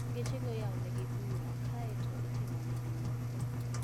Gechego iyawonigi ga bura kae to itimponegi nonro